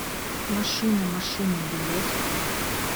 машина машина билет